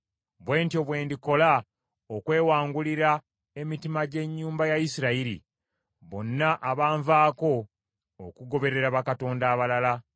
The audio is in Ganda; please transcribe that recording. Bwe ntyo bwe ndikola okwewangulira emitima gy’ennyumba ya Isirayiri, bonna abaanvaako okugoberera bakatonda abalala.’